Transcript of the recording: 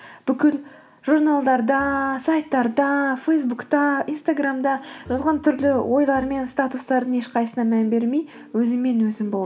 бүкіл журналдарда сайттарда фейсбукта инстаграмда жазған түрлі ойлар мен статустардың ешқайсысына мән бермей өзіңмен өзің бол